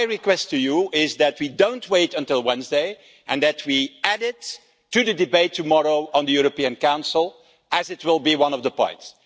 So my request to you is that we don't wait until Wednesday and that we add it to the debate on the European Council tomorrow, as it will be one of the points.